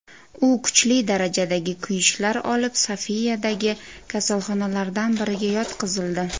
U kuchli darajadagi kuyishlar olib Sofiyadagi kasalxonalardan biriga yotqizildi.